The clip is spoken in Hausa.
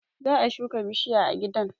Za a shuka bishiya a gidan